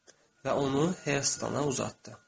Və onu Herstana uzatdı.